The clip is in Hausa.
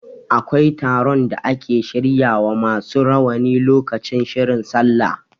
Akwai taron da ake shirya wa masu rawani lokaci shirin sallah.